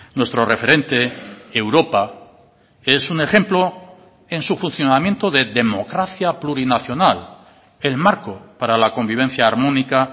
nuestro referente europa es un ejemplo en su funcionamiento de democracia plurinacional el marco para la convivencia armónica